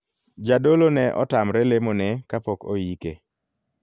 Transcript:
Jadolo ne otamre lemo ne kapok oike.